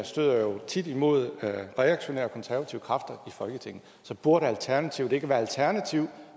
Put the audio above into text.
støder tit imod reaktionære konservative kræfter i folketinget så burde alternativet ikke være alternative